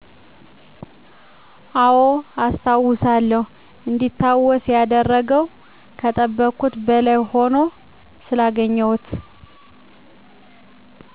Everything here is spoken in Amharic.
አወ አስታውሳለሁ እንዲታወስ ያደረገው ከጠበቅኩት በላይ ሁኖ ስላገኘሁት